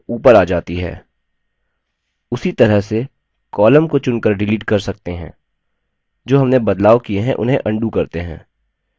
उसी तरह से columns को चुनकर डिलीट कर सकते हैं जो हमने बदलाव किए उन्हें अन्डू करते हैं